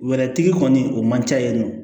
Wɛrɛtigi kɔni o man ca yen nɔ